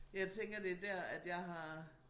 Men jeg tænker det dér at jeg har